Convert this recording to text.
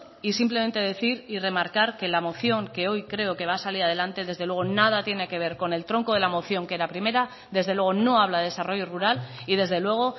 y simplemente decir y remarcar que la moción que hoy creo que va a salir adelante desde luego nada tiene que ver con el tronco de la moción que era primera desde luego no habla de desarrollo rural y desde luego